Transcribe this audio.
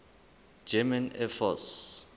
german air force